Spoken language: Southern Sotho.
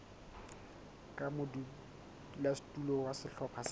ka modulasetulo wa sehlopha sa